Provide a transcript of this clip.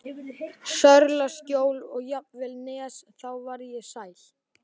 Sörlaskjól og jafnvel Nes, þá varð ég sæl.